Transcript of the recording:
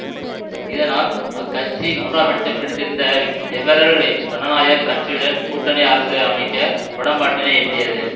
இதனால் அக்கட்சி மூன்றாம் இடத்தை பிடித்திருந்த லிபரல் சனநாயக கட்சியுடன் கூட்டணி அரசு அமைக்க உடன்பாட்டினை எட்டியது